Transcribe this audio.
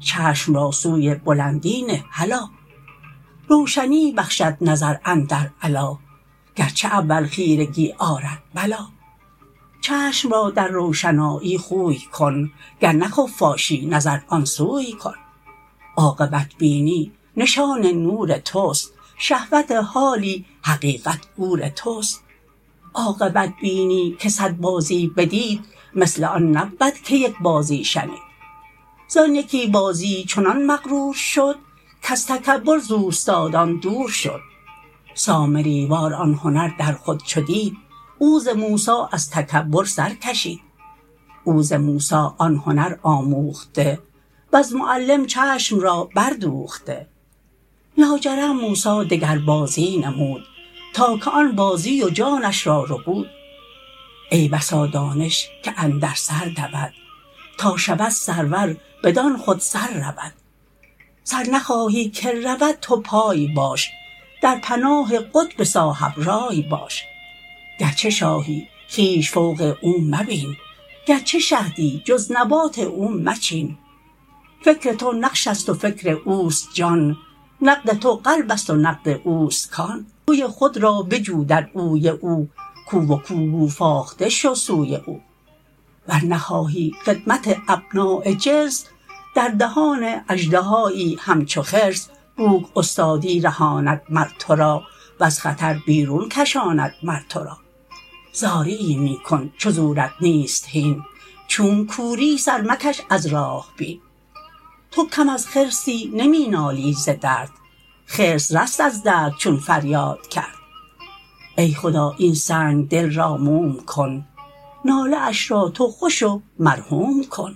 چشم را سوی بلندی نه هلا روشنی بخشد نظر اندر علیٰ گرچه اول خیرگی آرد بلیٰ چشم را در روشنایی خوی کن گر نه خفاشی نظر آن سوی کن عاقبت بینی نشان نور تست شهوت حالی حقیقت گور تست عاقبت بینی که صد بازی بدید مثل آن نبود که یک بازی شنید زان یکی بازی چنان مغرور شد کز تکبر ز اوستادان دور شد سامری وار آن هنر در خود چو دید او ز موسی از تکبر سر کشید او ز موسی آن هنر آموخته وز معلم چشم را بر دوخته لاجرم موسی دگر بازی نمود تا که آن بازی و جانش را ربود ای بسا دانش که اندر سر دود تا شود سرور بدان خود سر رود سر نخواهی که رود تو پای باش در پناه قطب صاحب راٰی باش گرچه شاهی خویش فوق او مبین گرچه شهدی جز نبات او مچین فکر تو نقش است و فکر اوست جان نقد تو قلبست و نقد اوست کان او توی خود را بجو در اوی او کو و کو گو فاخته شو سوی او ور نخواهی خدمت ابناء جنس در دهان اژدهایی همچو خرس بوک استادی رهاند مر تو را وز خطر بیرون کشاند مر تو را زاریی می کن چو زورت نیست هین چونک کوری سر مکش از راه بین تو کم از خرسی نمی نالی ز درد خرس رست از درد چون فریاد کرد ای خدا این سنگ دل را موم کن ناله اش را تو خوش و مرحوم کن